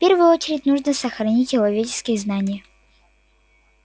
в первую очередь нужно сохранить человеческие знания